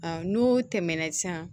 N'u tɛmɛna sisan